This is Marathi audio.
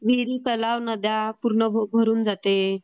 विहिरी तलाव नद्या पूर्ण भरून जाते.